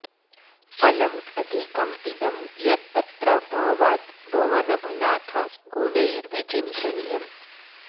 फलम् अधिकम् इदं यद् अत्र भावाद् भवन भ नाथ गुणैर्विचिन्तनीयम्